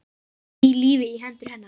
Ný lífi í hendur hennar.